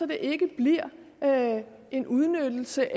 det ikke bliver en udnyttelse